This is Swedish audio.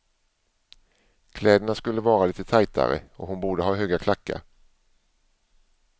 Kläderna skulle vara lite tajtare och hon borde ha höga klackar.